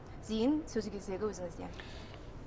зейін сөз кезегі өзіңізде